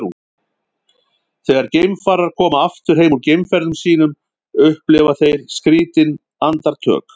þegar geimfarar koma aftur heim úr geimferðum sínum upplifa þeir skrýtin andartök